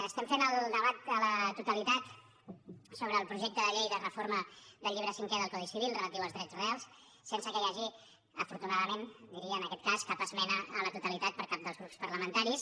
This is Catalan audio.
estem fent el debat a la totalitat sobre el projecte de llei de reforma del llibre cinquè del codi civil relatiu als drets reals sense que hi hagi afortunadament ho diria en aquest cas cap esmena a la totalitat per cap dels grups parlamentaris